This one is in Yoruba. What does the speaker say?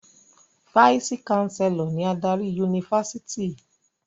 Fáìsì-káńsélọ̀ ni adarí yunifásítì.